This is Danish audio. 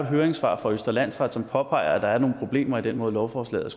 et høringssvar fra østre landsret som påpeger at der er nogle problemer i den måde lovforslaget